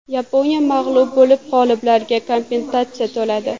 Yaponiya mag‘lub bo‘lib, g‘oliblarga kompensatsiya to‘ladi.